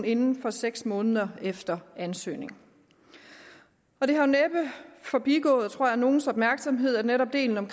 inden for seks måneder efter ansøgning det har næppe forbigået tror jeg nogens opmærksomhed at netop delen om